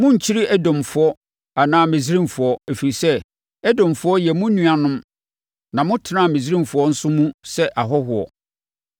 Monnkyiri Edomfoɔ anaa Misraimfoɔ, ɛfiri sɛ, Edomfoɔ yɛ mo nuanom na motenaa Misraimfoɔ nso mu sɛ ahɔhoɔ.